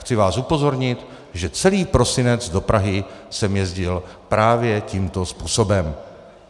Chci vás upozornit, že celý prosinec do Prahy jsem jezdil právě tímto způsobem.